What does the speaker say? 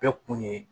Bɛɛ kun ye